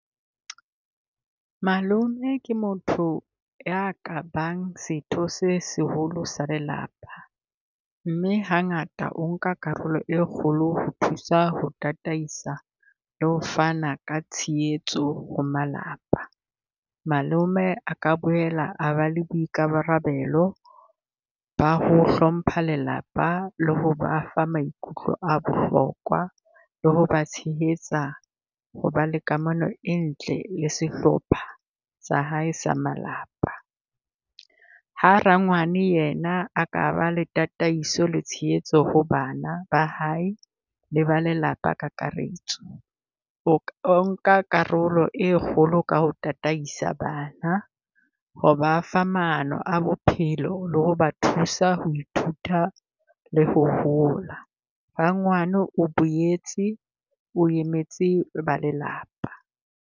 Malome ke motho ya ka bang setho se seholo sa lelapa, mme hangata o nka karolo e kgolo ho thusa ho tataisa le ho fana ka tshehetso ho malapa. Malome a ka boela ba le boikarabelo ba ho hlompha lelapa le ho ba fa maikutlo a bohlokwa, le ho ba tshehetsa ho ba le kamano e ntle le sehlopha sa hae sa malapa. Ha rangwane yena a ka ba le tataiso le tshehetso ho bana ba hae le ba lelapa kakaretso. O , o nka karolo e kgolo ka ho tataisa bana, ho ba fa maano a bophelo le ho ba thusa ho ithuta le ho hola. Rangwana boetse o emetse ba lelapa.